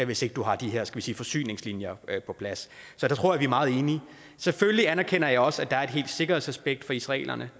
hvis ikke du har de her skal vi sige forsyningslinjer på plads så der tror jeg meget enige selvfølgelig anerkender jeg også at der er et sikkerhedsaspekt for israelerne